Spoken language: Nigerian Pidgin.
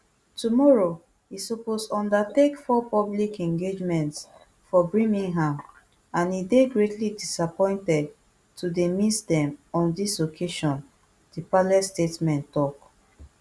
tomorrow e suppose undertake four public engagements for birmingham and e dey greatly disappointed to dey miss dem on dis occasion di palace statement tok